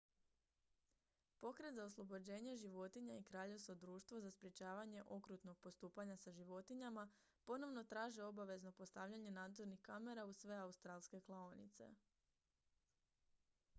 pokret za oslobođenje životinja i kraljevsko društvo za sprječavanje okrutnog postupanja sa životinjama rspca ponovno traže obavezno postavljanje nadzornih kamera u sve australske klaonice